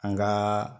An gaa